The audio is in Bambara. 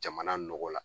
Jamana nɔgɔ la